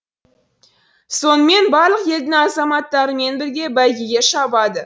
сонымен барлық елдің азаматтарымен бірге бәйгеге шабады